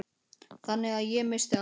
Þannig að ég missti allt.